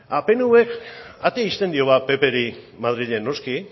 pnvk atera ixten dio ba ppri madrilen noski